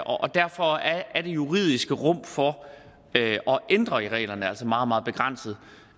og derfor er det juridiske rum for at ændre reglerne altså meget meget begrænset